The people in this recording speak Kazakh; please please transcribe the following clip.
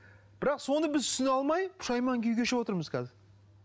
бірақ соны біз түсіне алмай пұшайман күй кешіп отырмыз қазір